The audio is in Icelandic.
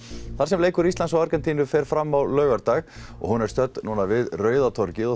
þar sem leikur Íslands og Argentínu fer fram á laugardag og hún er stödd við Rauða torgið